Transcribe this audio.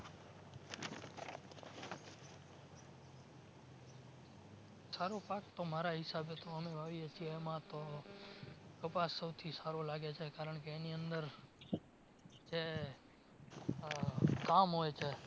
સારો પાક તો મારા હિસાબે અમે વાવીએ છે એમાં તો કપાસ સૌથી સારો લાગે છે કારણકે એની અંદર જે આહ કામ હોય છે